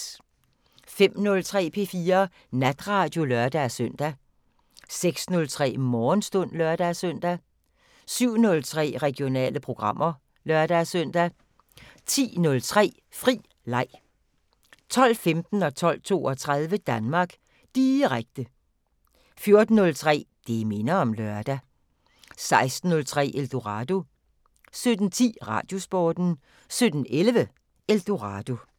05:03: P4 Natradio (lør-søn) 06:03: Morgenstund (lør-søn) 07:03: Regionale programmer (lør-søn) 10:03: Fri leg 12:15: Danmark Direkte 12:32: Danmark Direkte 14:03: Det minder om lørdag 16:03: Eldorado 17:10: Radiosporten 17:11: Eldorado